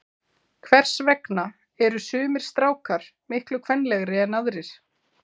Hvers vegna eru sumir strákar miklu kvenlegri en aðrir?